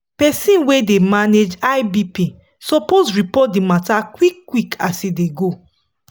persin wey dey manage high bp suppose report the matter quick quick as e dey go